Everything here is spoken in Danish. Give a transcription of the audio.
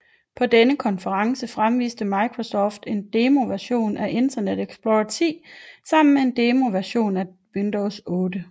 På denne konference fremviste Microsoft en demoversion af Internet Explorer 10 sammen med en demoversion af Windows 8